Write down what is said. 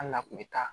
Hali n'a kun bɛ taa